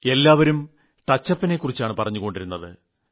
എല്ലാവരും ടച്ചപ്പിനെക്കുറിച്ചാണ് പറഞ്ഞുകൊണ്ടിരുന്നത്